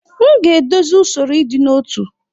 M ga-edozi usoro ịdị n'otu.